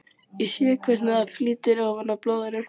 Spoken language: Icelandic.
Ég sé hvernig það flýtur ofan á blóðinu.